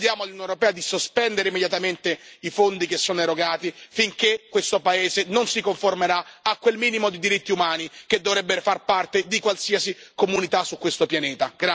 E chiediamo all'Unione europea di sospendere immediatamente i fondi che sono erogati finché questo paese non si conformerà a quel minimo di diritti umani che dovrebbero far parte di qualsiasi comunità su questo pianeta.